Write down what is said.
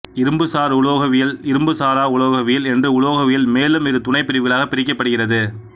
இரும்புசார் உலோகவியல் இரும்புசாரா உலோகவியல் என்று உலோகவியல் மேலும் இரு துணைப் பிரிவுகளாகப் பிரிக்கப்படுகிறது